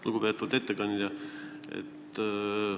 Lugupeetud ettekandja!